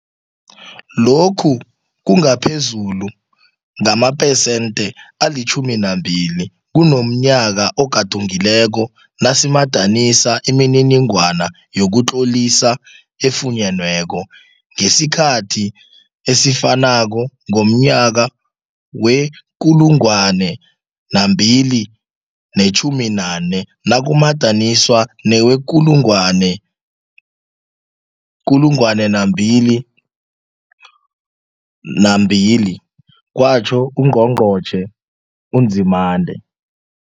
Lokhu kungaphezulu ngamaphesenthe ali-12 kunomnyaka ogadungileko nasimadanisa imininingwana yokutlolisa efunyenweko ngesikhathi esifanako ngomnyaka wee-2019 nakumadaniswa newee-2020, kwatjho uNgqongqotjhe uNzimande.